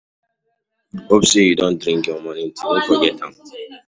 Hope say you don drink your morning tea, no forget am o.